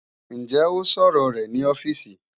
Ǹjẹ́ ó sọ̀rọ rẹ̀ ní ọ́fíìsì?